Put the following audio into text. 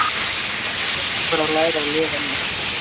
Menn þyrftu bara að læra að lifa með þessu.